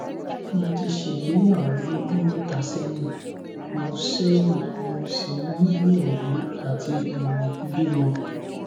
mo ti ṣègbéyàwó lọdún mẹta sẹyìn mo sẹyìn mo sì ń gbìyànjú àti um bímọ